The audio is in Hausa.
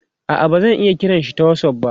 a'a bazan iya kiranshi ta whatsapp ba